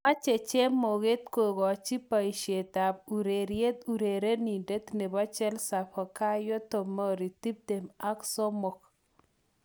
Mache chemoget kokochi poishetap urereriet urerenindet nebo chelsea, FikayoTomori, tiptem ak somok